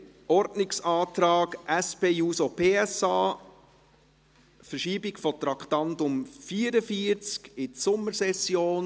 Zum Ordnungsantrag SP-JUSO-PSA auf Verschiebung des Traktandums 44 in die Sommersession.